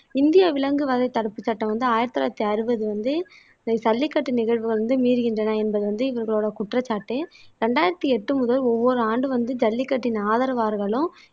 இந்திய விலங்கு வகை தடுப்பு சட்டம் வந்து ஆயிரத்தி தொள்ளாயிரத்தி அறுபது வந்து ஜல்லிக்கட்டு நிகழ்வு வந்து மீறுகின்றன என்பது வந்து இவர்களோட குற்றச்சாட்டு ரெண்டாயிரத்தி எட்டு முதல் ஒவ்வொரு ஆண்டும் வந்து ஜல்லிக்கட்டின் ஆதரவாளர்களும்